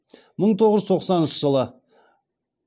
мың тоғыз жүз тоқсаныншы жылы